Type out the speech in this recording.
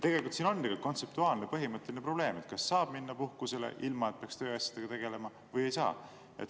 Tegelikult siin on kontseptuaalne põhimõtteline probleem, kas saab minna puhkusele, ilma et peaks tööasjadega tegelema, või ei saa.